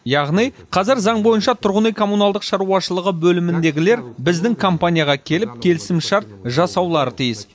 яғни қазір заң бойынша тұрғын үй коммуналдық шаруашылығы бөліміндегілер біздің компанияға келіп келісімшарт жасаулары тиіс